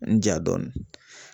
N ja dɔɔni